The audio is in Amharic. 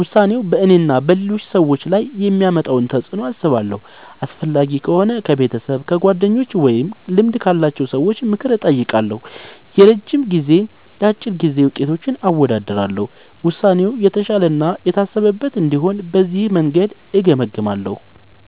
ውሳኔው በእኔና በሌሎች ሰዎች ላይ የሚያመጣውን ተፅዕኖ አስባለሁ። አስፈላጊ ከሆነ ከቤተሰብ፣ ከጓደኞች ወይም ከልምድ ያላቸው ሰዎች ምክር እጠይቃለሁ። የረጅም ጊዜና የአጭር ጊዜ ውጤቶችን አወዳድራለሁ። ውሳኔው የተሻለ እና የታሰበበት እንዲሆን በዚህ መንገድ እገመግማለሁ።